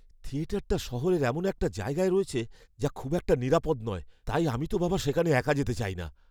থিয়েটারটা শহরের এমন একটা জায়গায় রয়েছে যা খুব একটা নিরাপদ নয়, তাই আমি তো বাবা সেখানে একা যেতে চাই না।